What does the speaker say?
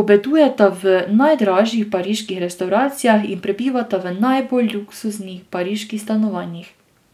obedujeta v najdražjih pariških restavracijah in prebivata v najbolj luksuznih pariških stanovanjih.